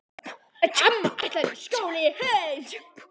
Amma ætlar í skóla í haust.